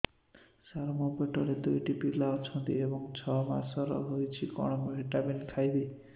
ସାର ମୋର ପେଟରେ ଦୁଇଟି ପିଲା ଅଛନ୍ତି ଏବେ ଛଅ ମାସ ହେଇଛି କଣ ଭିଟାମିନ ଖାଇବି